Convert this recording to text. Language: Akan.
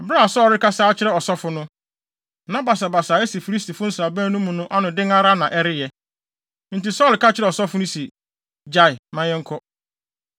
Bere a Saulo rekasa akyerɛ ɔsɔfo no, na basabasa a asi Filistifo nsraban no mu no ano den ara na ɛreyɛ. Enti Saulo ka kyerɛɛ ɔsɔfo no se, “Gyae! Ma yɛnkɔ.”